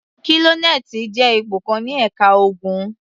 Kólónẹ́ẹ́lì jẹ́ ipò kan ní ẹ̀ka ogun.